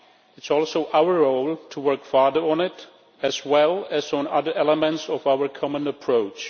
It is also our role to work further on it as well as on other elements of our common approach.